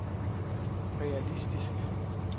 realistisk